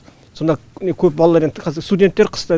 сонда міне көп балалар енді қазір студенттер қыста